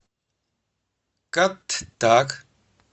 каттак